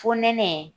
Fo neɛnɛ